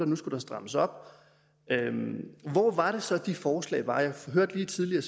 nu skulle strammes op hvor var det så de forslag var jeg hørte lige tidligere